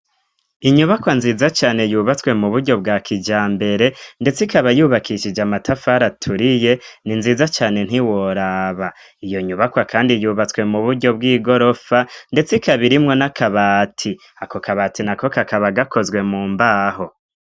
inyubakwa nziza cane yubatswe mu buryo bwa kijambere ndetse ikaba yubakishije amatafari aturiye ni nziza cane ntiworaba iyo nyubakwa kandi yubatswe mu buryo bw'igorofa ndetse ikaba irimwo n'akabati ako kabati na kokakaba gakozwe mu mbaho